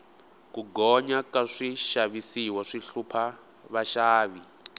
ku gonya ka swixavisiwa swi hlupha vaxavi